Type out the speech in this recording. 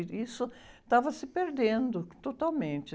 E isso estava se perdendo totalmente.